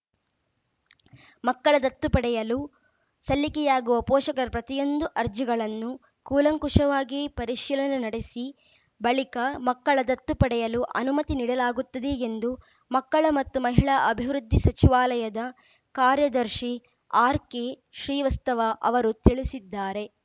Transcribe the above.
ಮಕ್ಕಳ ದತ್ತು ಪಡೆಯಲು ಸಲ್ಲಿಕೆಯಾಗುವ ಪೋಷಕರ ಪ್ರತಿಯೊಂದು ಅರ್ಜಿಗಳನ್ನು ಕೂಲಂಕುಷವಾಗಿ ಪರಿಶೀಲನೆ ನಡೆಸಿ ಬಳಿಕ ಮಕ್ಕಳ ದತ್ತು ಪಡೆಯಲು ಅನುಮತಿ ನೀಡಲಾಗುತ್ತದೆ ಎಂದು ಮಕ್ಕಳ ಮತ್ತು ಮಹಿಳಾ ಅಭಿವೃದ್ಧಿ ಸಚಿವಾಲಯದ ಕಾರ್ಯದರ್ಶಿ ಆರ್‌ಕೆಶ್ರೀವಸ್ತವ ಅವರು ತಿಳಿಸಿದ್ದಾರೆ